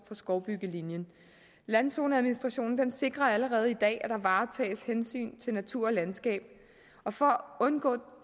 for skovbyggelinjen landzoneadministrationen sikrer allerede i dag at der varetages hensyn til natur og landskab og for at undgå